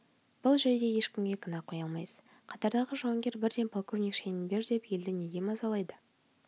бұл жерде ешкімге кінә қоя алмайсыз қатардағы жауынгер бірден полковник шенін бер деп елді неге мазалайды